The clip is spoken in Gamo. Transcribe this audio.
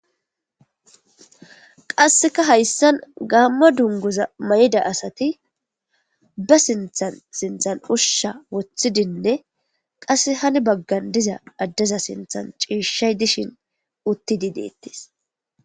qasseka hayssan gaamma dunguza may7da asati ba sinthan sinthan ushsha woththidinne qasse hani baggan diza addeza sinthan ciishay dishin utti di deettis